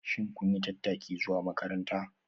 Shin kun yi tattaki zuwa makaranta?